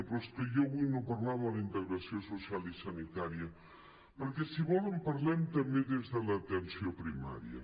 però és que jo avui no parlava de la integració social i sanitària perquè si volen parlem també des de l’atenció primària